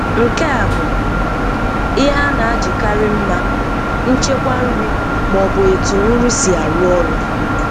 Nke a bụ ihe a na-ajikarị mma, nchekwa nri ma ọ bụ etu nri si arụ ọrụ.